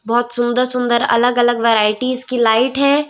बहोत सुंदर सुंदर अलग अलग वैराइटीज लाइट है।